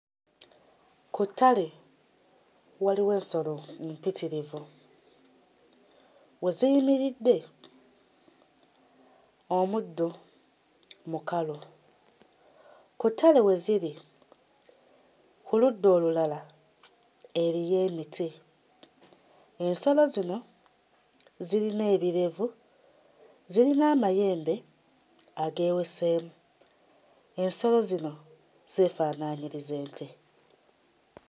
Ku ttale waliwo ensolo mpitirivu, we ziyimiridde omuddo mukalu; ku ttale we ziri ku ludda olulala eriyo emiti, ensolo zino ziyina ebirevu, ziyina amayembe ageweseemu, ensolo zino zeefaanaanyiriza ente.